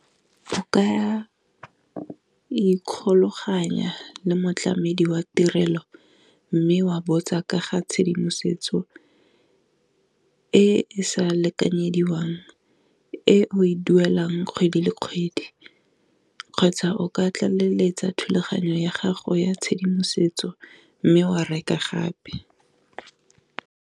O kaya ikgolaganya le motlamedi wa tirelo, mme wa botsa ka ga tshedimosetso e sa lekanyediwang e o e duelang kgwedi le kgwedi, kgotsa o ka tlaleletsa thulaganyo ya gago ya tshedimosetso mme wa reka gape.